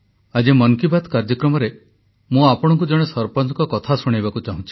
ଆଜି ମନ୍ କି ବାତ୍ କାର୍ଯ୍ୟକ୍ରମରେ ମୁଁ ଆପଣଙ୍କୁ ଜଣେ ସରପଞ୍ଚଙ୍କ କଥା ଶୁଣାଇବାକୁ ଚାହୁଁଛି